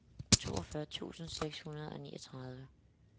toogfyrre tusind seks hundrede og niogtredive